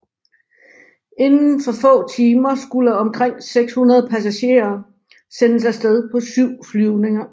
Inden for få timer skulle omkring 600 passagerer sendes afsted på syv flyvninger